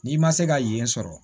N'i ma se ka yen sɔrɔ